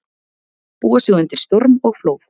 Búa sig undir storm og flóð